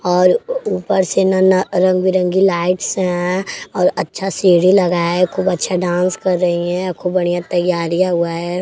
और ऊपर से नना रंग बिरंगी लाइट्स हैं और अच्छा सीढ़ी लगाया है खूब अच्छा डांस कर रही हैं खूब बढ़ियां तैयारियां हुआ है।